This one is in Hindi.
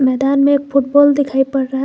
मैदान में फुटबॉल दिखाई पड़ रहा--